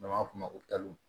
N'an b'a f'o ma ko